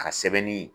A ka sɛbɛnni